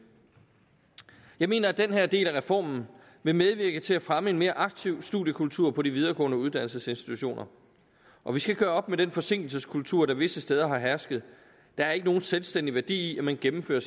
jeg mener at den her del af reformen vil medvirke til at fremme en mere aktiv studiekultur på de videregående uddannelsesinstitutioner og vi skal gøre op med den forsinkelseskultur der visse steder har hersket der er ikke nogen selvstændig værdi i at man gennemfører